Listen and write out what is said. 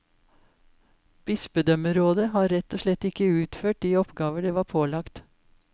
Bispedømmerådet har rett og slett ikke utført de oppgaver det var pålagt.